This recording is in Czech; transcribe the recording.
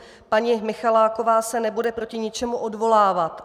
Paní Michaláková se nebude proti ničemu odvolávat.